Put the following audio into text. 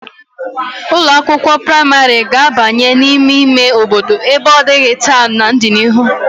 Ụlọ akwụkwo praịmarị ga-abanye n'ime ime obodo ebe ọ dịghị taa n'ọdịnihu.